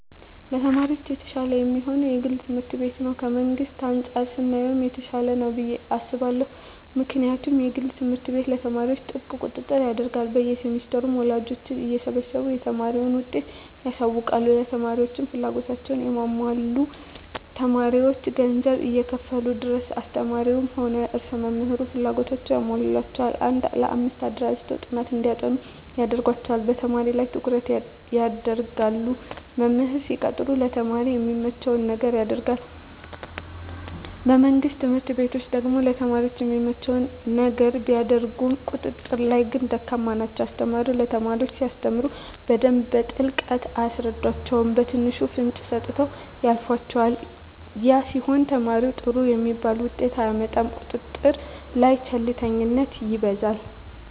ለተማሪ የተሻለ የሚሆነዉ የግል ትምህርት ቤት ነዉ ከመንግስት አንፃር ስናየዉ የተሻለ ነዉ ብየ አስባለሁ ምክንያቱም የግል ትምህርት ቤት ለተማሪዎች ጥብቅ ቁጥጥር ያደርጋሉ በየ ሴምስተሩ ወላጆችን እየሰበሰቡ የተማሪን ዉጤት ያሳዉቃሉ ለተማሪዎችም ፍላጎታቸዉን ያሟላሉ ተማሪዎች ገንዘብ እስከከፈሉ ድረስ አስተማሪዉም ሆነ ርዕሰ መምህሩ ፍላጎታቸዉን ያሟሉላቸዋል አንድ ለአምስት አደራጅተዉ ጥናት እንዲያጠኑ ያደርጓቸዋል በተማሪዎች ላይ ትኩረት ይደረጋል መምህር ሲቀጠር ለተማሪ የሚመቸዉን ነገር ያደርጋል በመንግስት ትምህርት ቤቶች ደግሞ ለተማሪ የሚመቸዉን ነገር ቢያደርጉም ቁጥጥር ላይ ግን ደካማ ናቸዉ አስተማሪዎች ለተማሪ ሲያስተምሩ በደንብ በጥልቀት አያስረዷቸዉም በትንሹ ፍንጭ ሰጥተዉ ያልፏቸዋል ያ ሲሆን ተማሪዉ ጥሩ የሚባል ዉጤት አያመጣም ቁጥጥር ላይ ቸልተኝነት ይበዛል